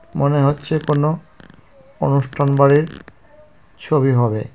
মনে হচ্ছে কোনো অনুষ্ঠান বাড়ির ছবি হবে .